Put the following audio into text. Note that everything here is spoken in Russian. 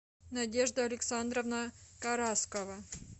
надежда александровна караскова